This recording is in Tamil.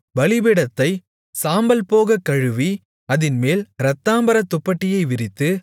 பலிபீடத்தைச் சாம்பல் போக கழுவி அதின்மேல் இரத்தாம்பரத் துப்பட்டியை விரித்து